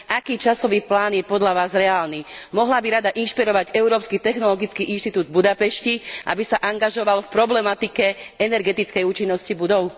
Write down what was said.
Aký časový plán je podľa vás reálny? Mohla by Rada inšpirovať Európsky technologický inštitút v Budapešti, aby sa angažoval v problematike energetickej účinnosti budov?